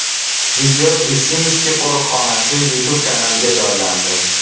Video Visimskiy qo‘riqxonasi YouTube kanaliga joylandi.